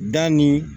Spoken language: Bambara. Da nin